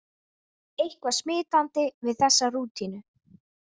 Eitthvað smitandi við þessa rútínu.